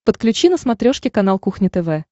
подключи на смотрешке канал кухня тв